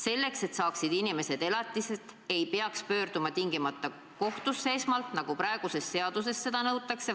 Selleks, et inimesed saaksid elatist, ei peaks tingimata esmalt pöörduma kohtusse, nagu praegune seadus nõuab.